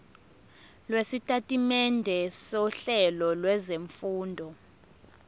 lwesitatimende sohlelo lwezifundo